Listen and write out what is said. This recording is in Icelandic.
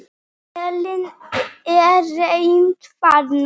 Elín, er reimt þarna?